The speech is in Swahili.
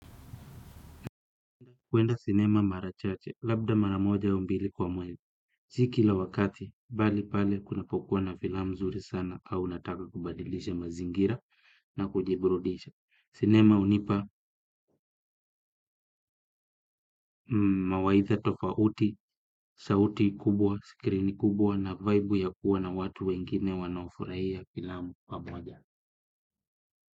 Kuenda sinema mara chache, labda mara moja au mbili kwa mwezi si kila wakati, bali pale kunapokuwa na filam mzuri sana. Au nataka kubadilisha mazingira na kujiburudisha. Sinema unipa mawaitha tofauti, sauti kubwa, skrini kubwa na vaibu ya kuwa na watu wengine wanaofurahia filamu pamoja.